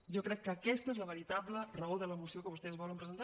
jo crec que aquesta és la veritable raó de la moció que vostès volen presentar